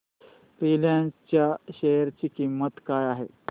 Reliance च्या share ची किंमत काय आहे